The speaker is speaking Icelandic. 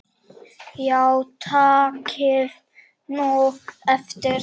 Já takið nú eftir.